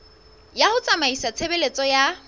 ya ho tsamaisa tshebeletso ya